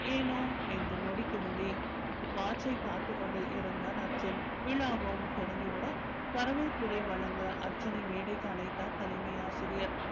ஏனோ என்று நொடிக்கு நொடி watch ஐ பார்த்துக் கொண்டே இருந்தான் அர்ஜுன் விழாவும் தொடங்கி விட வரவேற்புரை வழங்க அர்ஜுனை மேடைக்கு அழைத்தார் தலைமை ஆசிரியர்.